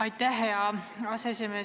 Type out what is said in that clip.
Aitäh, hea aseesimees!